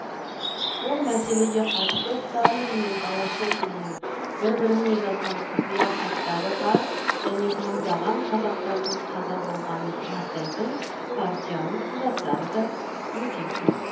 бұл мәселеге қатысты сталин мен голощекиннің бір біріне жазған құпия хаттары бар және мыңдаған қазақтардың қаза болғанын растайтын партияның құжаттары да өте көп